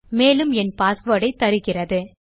மேலும் என் பாஸ்வேர்ட் ஐ தருகிறது